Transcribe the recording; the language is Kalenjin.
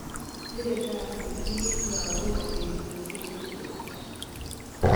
Sire kasi piik lagok petusye chu.